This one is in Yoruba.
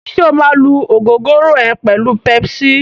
Ṣé o máa lú ògógóró ẹ pẹ̀lú pepsi?